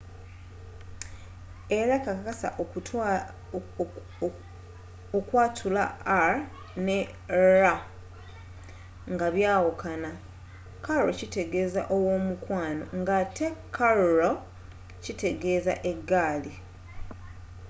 era kakasa okwatula r ne rr nga byawukana caro kitegeeza ow'omukwano ng'ate carro kitegeeza eggaali